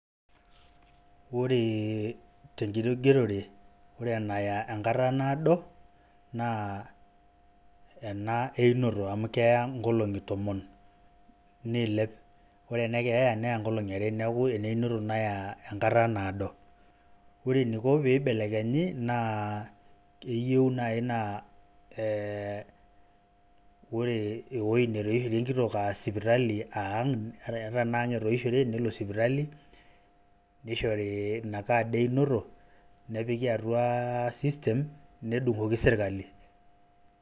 Ore tenkitogerore, ore enaya enkata naado, naa ena einoto. Amu keya inkolong'i tomon, niilep. Ore enekeeya, neya nkolong'i are. Neeku, eneinoto naya enkata naado. Ore eniko pibelekenyi, naa keyieu nai naa e Ore ewoi netoishore enkitok ah sipitali ah ang',ata enaa ang' etoishore, nelo sipitali, nishori inakad einoto, nepiki atua system ,nedung'oki serkali.